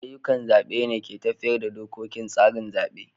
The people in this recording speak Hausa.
Ayyukan zabe ne ke tafiyar da dokokin tsarin zabe.